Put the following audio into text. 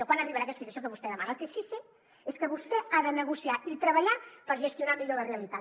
quan arribarà aquesta situació que vostè demana el que sí que sé és que vostè ha de negociar i treballar per gestionar millor la realitat